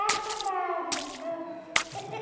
Ah, ficou grávida, pronto.